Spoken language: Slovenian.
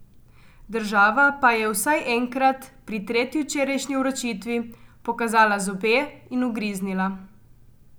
Država pa je vsaj enkrat, pri tretji včerajšnji vročitvi, pokazala zobe in ugriznila.